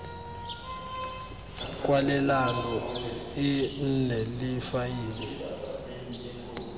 kwalelano e nne le faele